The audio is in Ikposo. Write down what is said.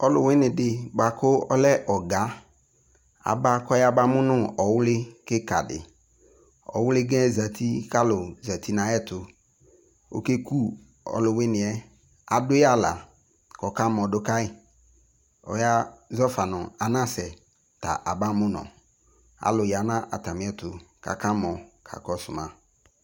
ɔlòwini di boa kò ɔlɛ ɔga aba k'ɔya ba mo no ɔwli keka di ɔwli ga yɛ zati k'alò zati n'ayi ɛto oke ku ɔlòwini yɛ adu yi ala k'ɔka mɔ do kayi ɔya zɔfa no anasɛ ta aba mo nɔ alò ya n'atami ɛto k'aka mɔ ka kɔsu ma